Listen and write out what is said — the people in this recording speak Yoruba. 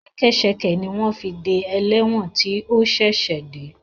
Ṣẹkẹ́ṣẹkẹ̀ ni wọ́n fi de ẹlẹ́wọ̀n tí ó ṣẹ̀ṣẹ̀ dé